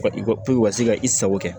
I ko i ka se ka i sago kɛ